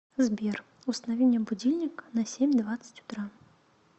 сбер установи мне будильник на семь двадцать утра